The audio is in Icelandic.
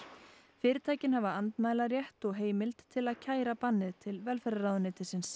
fyrirtækin hafa andmælarétt og heimild til að kæra bannið til velferðarráðuneytisins